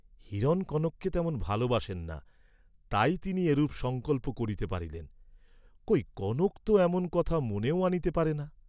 হিরণ কনককে তেমন ভালবাসেন না, তাই তিনি এরূপ সঙ্কল্প করিতে পারিলেন, কই কনক তো এমন কথা মনেও আনিতে পারে না!